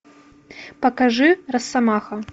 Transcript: покажи россомаха